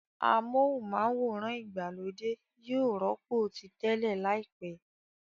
Amóhùnm'áwòrán ìgbàlódé yóò rọ́pò ti tẹ́lẹ̀ láìpẹ́